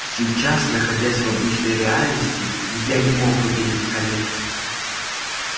сейчас находясь в обычной реальности я не мог увидеть коллег